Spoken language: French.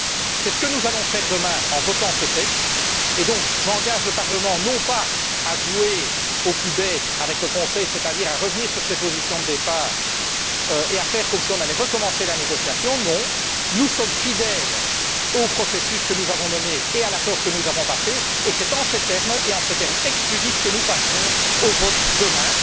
C'est ce que nous allons faire demain en votant ce texte et donc j'engage le Parlement, non pas à jouer au plus bête avec le Conseil, c'est à dire à revenir sur ses positions de départ et à faire comme si on allait recommencer la négociation. Non, nous sommes fidèles au processus que nous avons mené et à l'accord que nous avons passé, et c'est en ces termes, et en ces termes exclusifs, que nous passerons au vote demain.